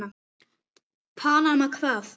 Panama hvað?